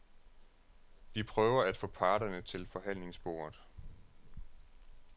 De prøver at få parterne til forhandlingsbordet.